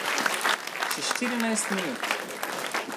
Še štirinajst minut.